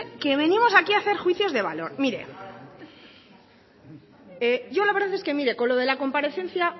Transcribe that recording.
que venimos aquí hacer juicios de valor mire yo la verdad es que con lo de la comparecencia